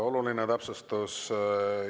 Oluline täpsustus.